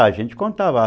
Ah, a gente contava.